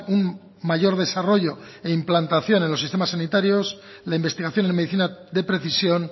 un mayor desarrollo e implantación en los sistemas sanitarios la investigación en medicina de precisión